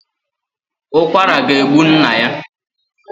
Ukwara ga egbu nna ya